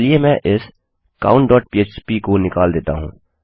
चलिए मैं इस countफ्प को निकाल देता हूँ